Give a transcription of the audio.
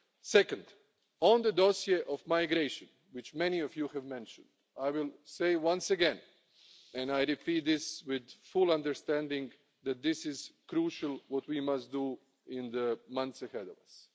Secondly, on the dossier of migration, which many of you have mentioned, I will say once again and repeat this with full understanding that this is crucially what we must do in the months ahead of us.